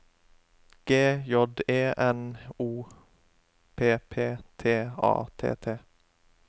G J E N O P P T A T T